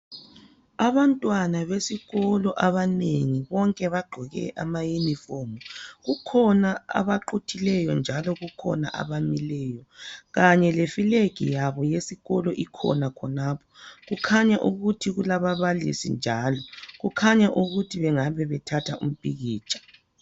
abantwana besikolo abanengi bonke bagqoke ama uniform kukhona abaquthileyo njalo kukhona abamileyo kanye le flag yabo eyesikolo ikhona khonapho kukhanya ukuthi kulababalisi njalo kukhanya ukuthi bengabe bethatha umpikitsha